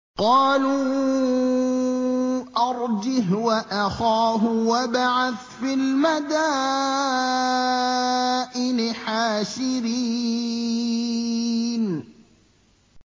قَالُوا أَرْجِهْ وَأَخَاهُ وَابْعَثْ فِي الْمَدَائِنِ حَاشِرِينَ